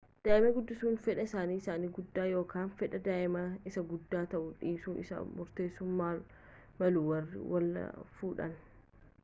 daa'ima guddisuu fedha isaanii isa guddaa yookaan fedha daa'immanii isa guddaa ta'uu dhiisuu isaa murteessuu malu warri wal fuudhan